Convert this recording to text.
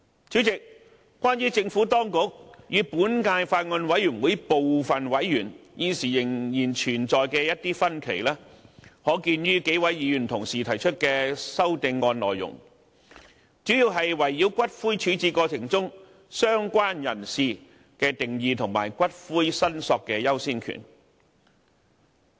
主席，關於政府當局與本屆法案委員會部分委員現時仍然存在的一些分歧，可見於數位議員提出的修正案內容，主要是圍繞骨灰處置過程中"相關人士"的定義及骨灰申索的優先權。